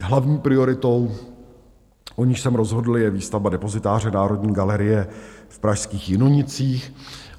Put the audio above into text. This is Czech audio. Hlavní prioritou, o níž jsem rozhodl, je výstavba depozitáře Národní galerie v pražských Jinonicích.